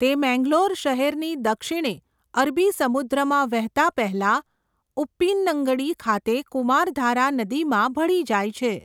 તે મેંગલોર શહેરની દક્ષિણે અરબી સમુદ્રમાં વહેતા પહેલા ઉપ્પીનંગડી ખાતે કુમારધારા નદીમાં ભળી જાય છે.